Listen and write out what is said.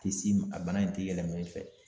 Ti s'i ma a bana in te yɛlɛma i fɛ